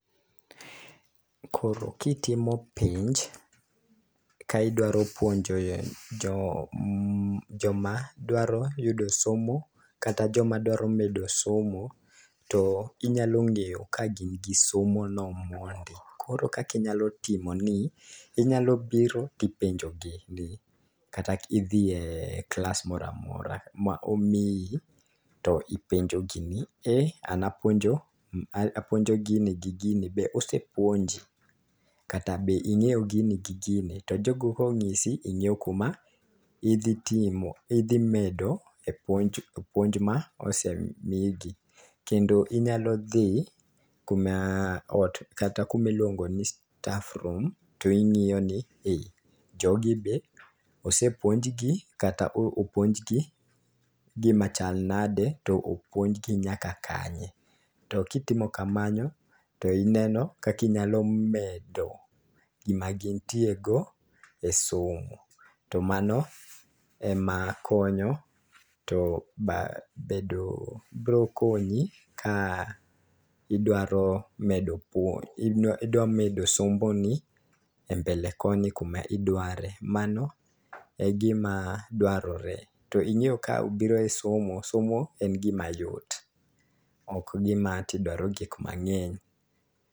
Koro kitimo penj ka idwaro puonjo jo joma dwaro yudo somo kata joma dwaro medo somo, to inyalo ng'eyo ka gin gi somo no mondi . Koro kaki nyalo timo ni inyalo bro tipenjo gi ni kati dhie klas moramora momiyi to ipenjo gi ni ere an apuonjo a puonjo gini gi gini be osepuonji? kata be ingeyo gin gi gini? . To jogo kong'isi ing'eyo kuma dhi timo idhi mede puonj mosemigi kendo inyalo dhi kuma ot kuomi luongo ni staff room to ing'iyo ni jogi be osepuonj gi kata opuonj gi gima chal nade to opuonj gi nyaka kanye. To kitimo kamano to ineno kaki nyalo medo gima gintie go e somo .To mano ema konyo to ba bedo bro konyi ka idwaro medo puonj idwa medo somo ni e mbele koni kuma idware, mano e gima dwarore .To ing'eyo ka obiro e somo somo en gima yot ok en gima idwaro gik mang'eny.